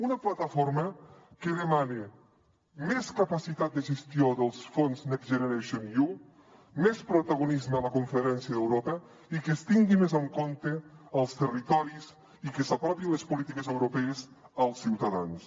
una plataforma que demana més capacitat de gestió dels fons next generation you més protagonisme a la conferència d’europa i que es tinguin més en compte els territoris i que s’apropin les polítiques europees als ciutadans